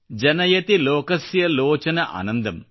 ಜನಯತಿ ಲೋಕಸ್ಯ ಲೋಚನ ಆನಂದಮ್